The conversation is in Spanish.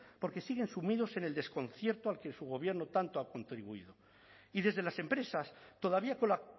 porque siguen sumidos en el desconcierto al que su gobierno tanto ha contribuido y desde las empresas todavía con la